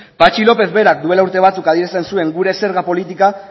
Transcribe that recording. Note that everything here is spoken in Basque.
patxi lópez berak duela urte batzuk adierazten zuen gure zerga politika